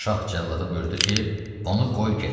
Şah cəllada buyurdu ki, onu qoy get.